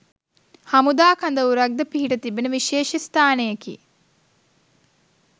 හමුදා කඳවුරක් ද පිහිට තිබෙන විශේෂ ස්ථානයකි.